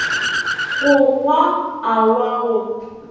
go goa a wa go